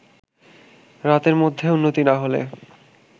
রাতের মধ্যে উন্নতি না হলে